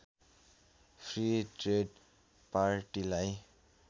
free trade पार्टीलाई